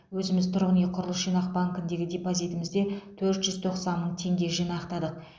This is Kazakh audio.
өзіміз тұрғын үй құрылыс жинақ банкіндегі депозитімізде төрт жүз тоқсан мың теңге жинақтадық